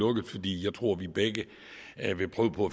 lukket fordi jeg tror vi begge vil prøve på